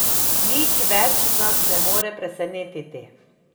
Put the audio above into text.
Nič več nas ne more presenetiti.